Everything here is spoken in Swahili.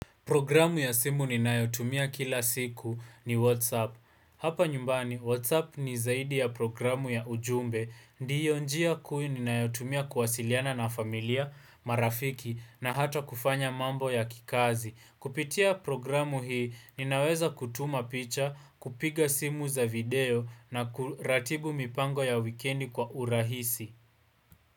Programu ya simu ninayotumia kila siku ni Whatsapp. Hapa nyumbani, Whatsapp ni zaidi ya programu ya ujumbe. Ndiyo njia kuu ninayotumia kuwasiliana na familia, marafiki na hata kufanya mambo ya kikazi. Kupitia programu hii, ninaweza kutuma picha, kupiga simu za video na kuratibu mipango ya wikendi kwa urahisi.